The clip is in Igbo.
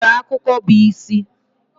Onwere akụkụ bu isi.